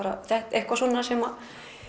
eitthvað svona sem